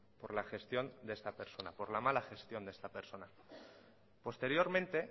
por la gestión de esta persona por la mala gestión de esta persona posteriormente